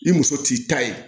I muso t'i ta ye